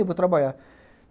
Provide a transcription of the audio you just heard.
Eu vou trabalhar.